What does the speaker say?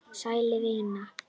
Sæl, vinan.